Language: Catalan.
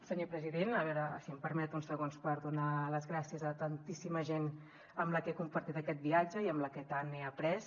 senyor president si em permet uns segons per donar les gràcies a tantíssima gent amb la que he compartit aquest viatge i amb la que tant he après